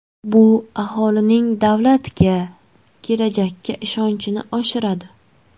Bu aholining davlatga, kelajakka ishonchini oshiradi.